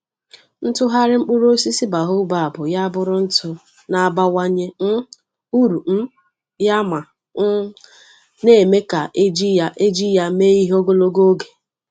Ịtụgharị mkpụrụ osisi baobab ya abụrụ ntụ na-abawanye um uru um ya ma um na-eme ka eji ya eji ya mee ihe ogologo oge.